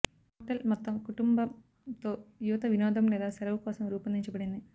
hotel మొత్తం కుటుంబం తో యువత వినోదం లేదా సెలవు కోసం రూపొందించబడింది